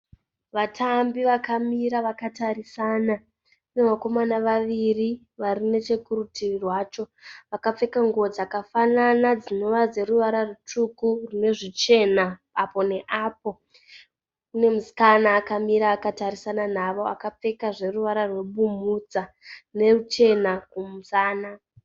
Vatambi vakamira vakatarisana. Pane vakomana vaviri vari nechekurutivi rwacho. Vakapfeka nguwo dzakafanana dzinova dzeruvara rutsvuku rune zvichena apo neapo. Pane musikana akamira akatarisana navo akapfeka zveruvara rwebumhudza neruchena kumusana.